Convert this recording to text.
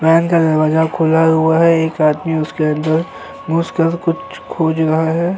Van का दरवाजा खुला हुआ है एक आदमी उसके अंदर घुसकर कुछ खोज रहा हैं।